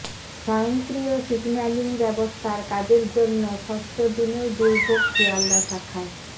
স্বয়ংক্রিয় সিগন্যালিং ব্যবস্থার কাজের জন্য ষষ্ঠ দিনেও দুর্ভোগ শিয়ালদা শাখায়